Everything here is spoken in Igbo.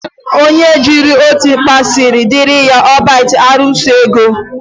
Onye jiri otu mkpa siri diri ya, o bite arụsi ego.